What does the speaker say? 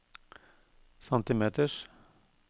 centimeters